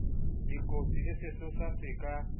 dikotsi le sesosa se ka